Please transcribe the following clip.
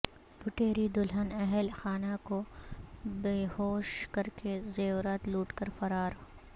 لٹیری دلہن اہل خانہ کو بیہوش کرکے زیورات لوٹ کر فرار